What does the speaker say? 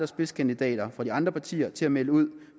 spidskandidaterne fra de andre partier til at melde ud